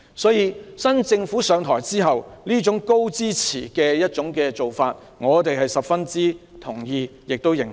所以，現屆政府上台後採取這種高支持的做法，我們十分認同。